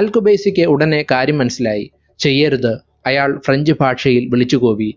അൽ ഖുബൈസിക്ക് ഉടനെ കാര്യം മനസ്സിലായി ചെയ്യരുത് അയാൾ french ഭാഷയിൽ വിളിച്ചു കൂവി